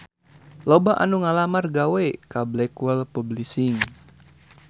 Loba anu ngalamar gawe ka Blackwell Publishing